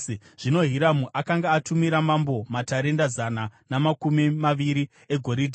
Zvino Hiramu akanga atumira mambo matarenda zana namakumi maviri egoridhe.